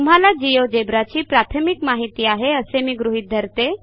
तुम्हाला Geogebraची प्राथमिक माहिती आहे असे मी गृहीत धरतो